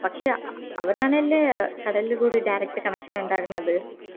പക്ഷെ അവരാണല്ലേ കടലുകൂടി direct connection ഇണ്ടാകുന്നത്